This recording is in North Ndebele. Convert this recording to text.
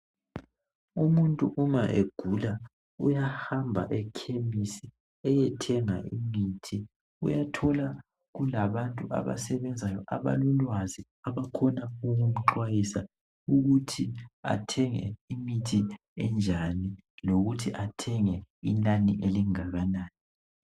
Umuntu nxa egula uyahamba ekhemisi eyethenga imithi. Uyathola kulabantu abasebenzayo abalolwazi, abakwazi ukuxwayisa ukuthi athenge imithi enjani lokuthi athenge inani elingakanani.